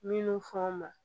Minnu fɔ ma